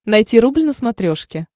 найти рубль на смотрешке